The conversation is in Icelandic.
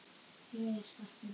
Jæja, Skarpi minn.